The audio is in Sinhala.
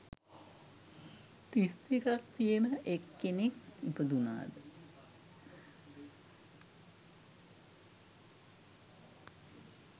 තිස් දෙකක් තියෙන එක් කෙනෙක් ඉපදුණාද?